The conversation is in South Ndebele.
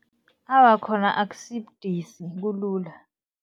Awa, khona akusibudisi, kulula.